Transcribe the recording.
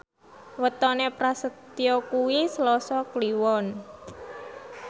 wetone Prasetyo kuwi Selasa Kliwon